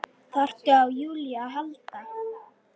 Þurfti á Júlíu að halda.